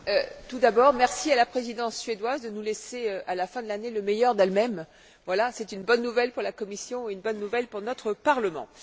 Monsieur le Président, tout d'abord, merci à la Présidence suédoise de nous laisser, à la fin de l'année, le meilleur d'elle même. C'est une bonne nouvelle pour la Commission et une bonne nouvelle pour notre Parlement.